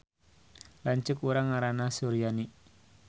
Lanceuk urang ngaranna Suryani